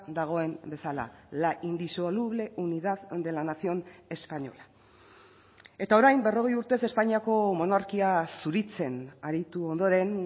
dagoen bezala la indisoluble unidad de la nación española eta orain berrogei urtez espainiako monarkia zuritzen aritu ondoren